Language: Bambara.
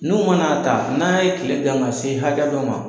N'u man'a ta n'a ye kile gan ka se hakɛ dɔ ma